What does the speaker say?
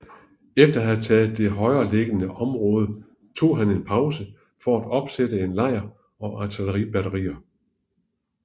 Efter at have taget det højereliggende område tog han en pause for at opsætte en lejr og artilleribatterier